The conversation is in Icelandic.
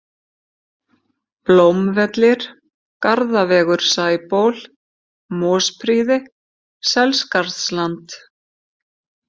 Blómvellir, Garðavegur Sæból, Mosprýði, Selskarðsland